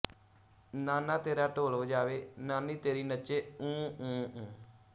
ਨਾਨਾ ਤੇਰਾ ਢੋਲ ਵਜਾਵੇ ਨਾਨੀ ਤੇਰੀ ਨੱਚੇ ਊਂ ਊਂ ਊਂ